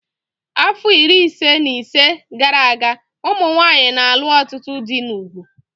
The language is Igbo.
Afọ iri ise na ise gara aga, ụmụ nwanyị na-alụ ọtụtụ dị n'ugwu